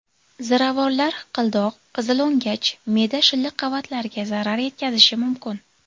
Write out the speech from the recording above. Ziravorlar hiqildoq, qizilo‘ngach, me’da shilliq qavatlariga zarar yetkazishi mumkin.